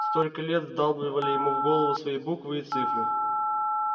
столько лет вдалбливали ему в голову свои буквы и цифры